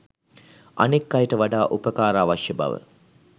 අනෙක් අයට වඩා උපකාර අවශ්‍ය බව